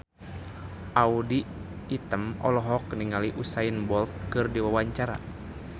Audy Item olohok ningali Usain Bolt keur diwawancara